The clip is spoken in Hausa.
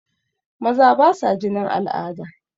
Maza basa jinin al'ada.